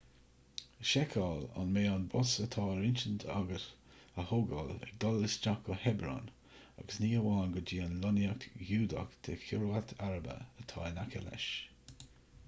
seiceáil an mbeidh an bus atá ar intinn agat a thógáil ag dul isteach chuig hebron agus ní hamháin go dtí an lonnaíocht ghiúdach de kiryat arba atá in aice leis